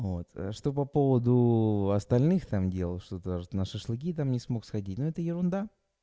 что по поводу остальных там делал что-то на шашлыки там не смог сходить но это ерунда